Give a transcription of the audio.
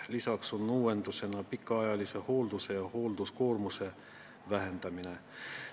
Lisaks on uuenduseks pikaajalise hoolduse ja hoolduskoormuse vähendamine.